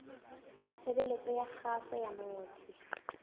tshebeletso ya kgaso ya motse